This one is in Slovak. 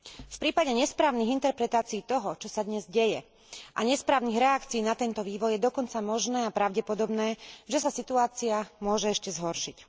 V prípade nesprávnych interpretácií toho, čo sa dnes deje, a nesprávnych reakcií na tento vývoj je dokonca možné a pravdepodobné, že sa situácia môže ešte zhoršiť.